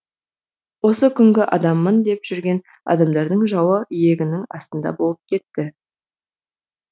осы күнгі адаммын деп жүрген адамдардың жауы иегінің астында болып кетті